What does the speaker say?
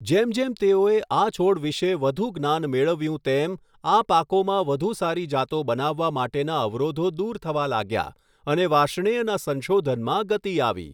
જેમ જેમ તેઓએ આ છોડ વિશે વધુ જ્ઞાન મેળવ્યું તેમ, આ પાકોમાં વધુ સારી જાતો બનાવવા માટેના અવરોધો દૂર થવા લાગ્યા, અને વાર્ષ્ણેયના સંશોધનમાં ગતિ આવી.